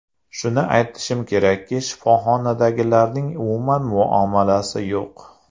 Shuni aytishim kerakki, shifoxonadagilarning umuman muomalasi yo‘q.